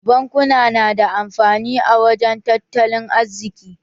Bankuna na da amfani a wajen tattalin arziki.